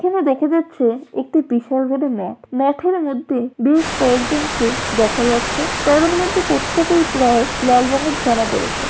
এখানে দেখা যাচ্ছে একটি বিশাল বড়ো মঠ মঠের মধ্যে বেশ কয়েকজনকে দেখা যাচ্ছে। তারা মূলত প্রতেকেই প্রায় লাল রঙের জামা পড়েছে।